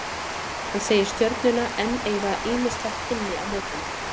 Hann segir Stjörnuna enn eiga ýmislegt inni í mótinu.